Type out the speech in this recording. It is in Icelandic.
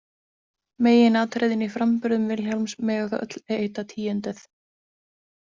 Meginatriðin í framburðum Vilhjálms mega þó öll heita tíunduð.